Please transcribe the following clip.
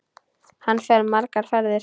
Hann fer margar ferðir.